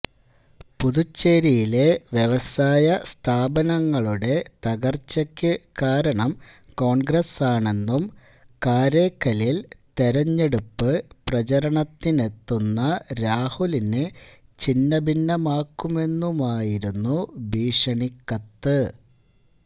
പുതുച്ചേരിയിലെ വ്യവസായ സ്ഥാപനങ്ങളുടെ തകര്ച്ചയ്ക്കു കാരണം കോണ്ഗ്രസാണെന്നും കാരൈക്കലില് തെരഞ്ഞെടുപ്പ് പ്രചാരണത്തിനെത്തുന്ന രാഹുലിനെ ഛിന്നഭിന്നമാക്കുമെന്നുമായിരുന്നു ഭീഷണിക്കത്ത്